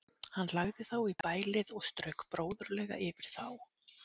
Hann lagði þá í bælið og strauk bróðurlega yfir þá.